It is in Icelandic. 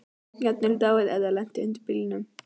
Jafnvel dáið ef það lenti undir bílnum.